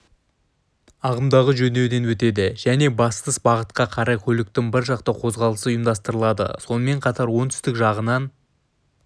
ағымдағы жөндеуден өтеді және бастыс бағытқа қарай көліктің біржақты қозғалысы ұйымдастырылады сонымен қатар оңтүстік жағынан